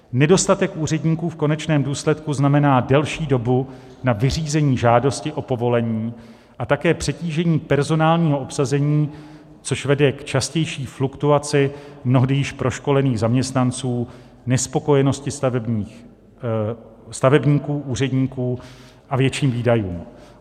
Nedostatek úředníků v konečném důsledku znamená delší dobu na vyřízení žádosti o povolení a také přetížení personálního obsazení, což vede k častější fluktuaci mnohdy již proškolených zaměstnanců, nespokojenosti stavebníků, úředníků a větším výdajům.